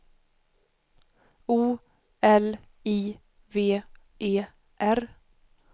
O L I V E R